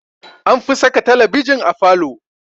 Anfi saka talabijin a falo.